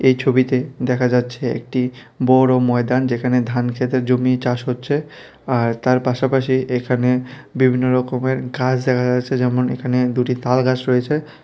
এই ছবিতে দেখা যাচ্ছে একটি বড় ময়দান যেখানে ধান ক্ষেতের জমি চাষ হচ্ছে আর তার পাশাপাশি এখানে বিভিন্ন রকমের গাস দেখা যাচ্ছে যেমন এখানে দুটি তাল গাস রয়েছে।